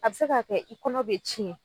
A bɛ se k'a kɛ i kɔnɔ be tiɲɛ